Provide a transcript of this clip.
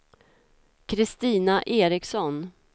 Christina Eriksson